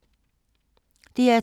DR2